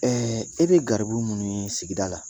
Ɛɛ i bɛ garibu minnu ye sigida la